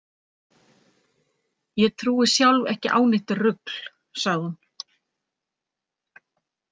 Ég trúi sjálf ekki á neitt rugl, sagði hún.